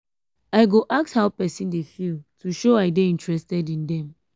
i go ask how pesin dey feel to show i dey interested in dem.